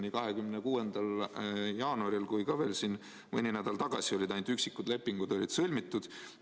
Nii 26. jaanuaril kui ka veel mõni nädal tagasi olid ainult üksikud lepingud sõlmitud.